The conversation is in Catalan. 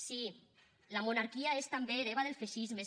sí la monarquia és també hereva del feixisme